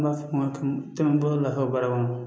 N b'a fɔ tɔnɔ bolo lafiya baara kɔnɔ